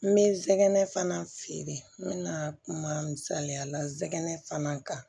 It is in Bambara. N bɛ zɛgɛnɛ fana feere n bɛna kuma misaliya la nsɛgɛnɛ fana kan